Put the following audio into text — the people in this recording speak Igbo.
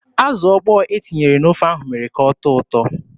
Azụ ọkpọ e tinyere n'ofe ahụ mere ka ọ tọọ ụtọ.